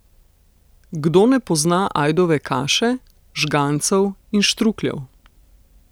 Kdo ne pozna ajdove kaše, žgancev in štrukljev?